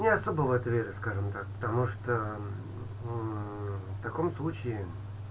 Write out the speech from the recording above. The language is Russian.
не особо в это верю скажем так потому что мм в таком случае